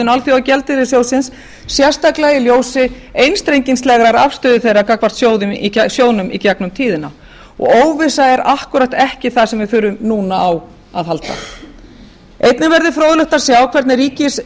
alþjóðagjaldeyrissjóðsins sérstaklega í ljósi einstrengingslegrar afstöðu þeirra gagnvart sjóðnum í gegnum tíðina og óvissa er akkúrat ekki það sem við þurfum núna á að halda einnig verður fróðlegt að sjá hvernig